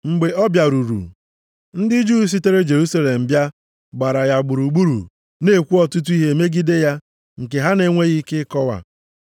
Mgbe ọ bịaruru, ndị Juu sitere Jerusalem bịa gbara ya gburugburu na-ekwu ọtụtụ ihe megide ya nke ha na-enweghị ike ịkọwa.